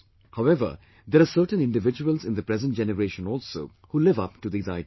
However, there are certain individuals in the present generation also, who live up to these ideals